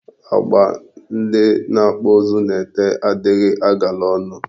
Agba ndị na-akpụ ụzụ na-ete adịghị agala ọnụ.